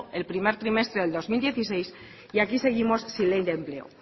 el primer trimestre del dos mil dieciséis y aquí seguimos sin ley de empleo